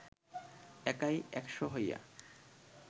একাই একশ হইয়া